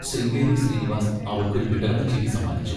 ശൃംഗേരി ശ്രീനിവാസ് അവൾക്കൊരു വിടർന്ന ചിരി സമ്മാനിച്ചു.